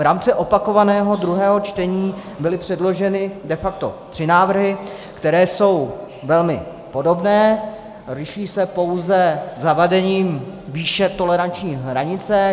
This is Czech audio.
V rámci opakovaného druhého čtení byly předloženy de facto tři návrhy, které jsou velmi podobné, liší se pouze zavedením výše toleranční hranice.